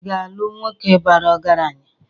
Ị ga-alụ nwoke bara ọgaranya?